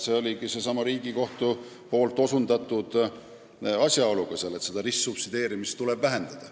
See oligi Riigikohtu osutatud asjaolu, seda ristsubsideerimist tuleb vähendada.